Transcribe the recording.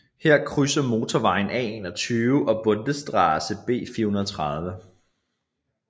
Her krydser motorvejen A21 og Bundesstraße B430